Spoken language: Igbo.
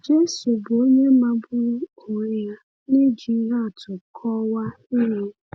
Jésù bụ onye magburu onwe ya n’iji ihe atụ kọwaa ihe.